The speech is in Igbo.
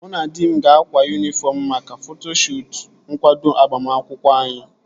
Mụ na di m ga-akwa yunifọm maka foto shuutu nkwado agbamakwụkwọ anyị